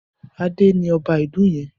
Adé ni ọba ìlú yẹn.